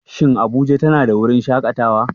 Shin Abuja tana da wurin shakatawa?